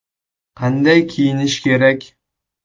Qanday kiyinish kerak?